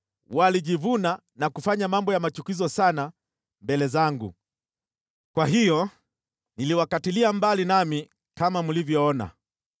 Walijivuna na kufanya mambo ya machukizo sana mbele zangu. Kwa hiyo niliwakatilia mbali nami kama mlivyoona.